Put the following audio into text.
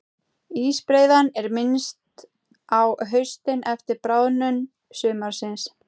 Ísbreiðan er minnst á haustin eftir bráðnun sumarsins.